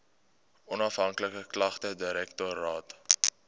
onafhanklike klagtedirektoraat